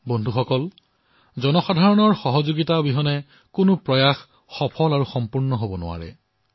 বন্ধুসকল যিকোনো অভিযান জনসাধাৰণৰ অংশগ্ৰহণ অবিহনে সম্পূৰ্ণ নহয় সফল নহয়